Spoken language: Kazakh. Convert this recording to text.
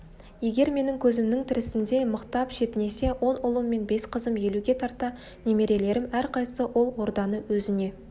егер менің көзімнің тірісінде мықтап шетінесе он ұлым он бес қызым елуге тарта немерелерім әрқайсысы ол орданы өзіне